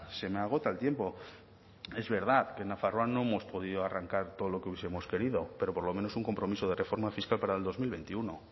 se me agota el tiempo es verdad que en nafarroa no hemos podido arrancar todo lo que hubiesemos querido pero por lo menos un compromiso de reforma fiscal para el dos mil veintiuno